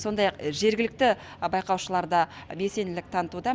сондай ақ жергілікті байқаушылар да белсенділік танытуда